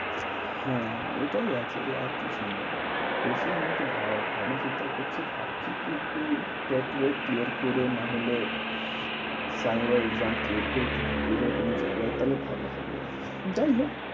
হ্যাঁ হ্যাঁ এটাই আছে রে, আর কিছু না। এই সব নিয়ে একটু ভাব, ভাবনা চিন্তাও করছি ভাবছি কি একটু টাটুয়েট clear করে না হলে তাই এবার exam clear করে একটু ঢুকে যাই কোনো জায়গায়, তাহলে ভালো হবে, যাই হোক